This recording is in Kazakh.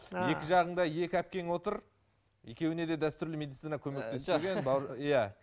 екі жағыңда екі әпкең отыр екеуіне де дәстүрлі медицина көмектеспеген иә